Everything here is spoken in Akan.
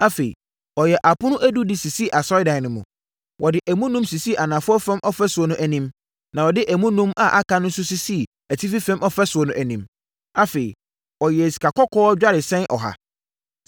Afei, ɔyɛɛ apono edu de sisii Asɔredan no mu. Wɔde emu enum sisii anafoɔ fam ɔfasuo no anim, na wɔde emu enum a aka no nso sisii atifi fam ɔfasuo no anim. Afei, ɔyɛɛ sikakɔkɔɔ dwaresɛn ɔha.